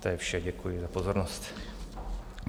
To je vše, děkuji za pozornost.